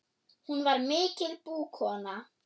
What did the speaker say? Hún var mikil búkona.